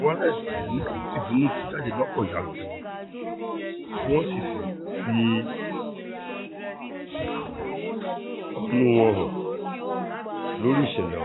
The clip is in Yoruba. fìbínú tú jáde lọ́pọ̀ yanturu tí wọ́n sì fi fi ̀hónú wọn hàn lórí ìṣẹ̀lẹ̀ ọ̀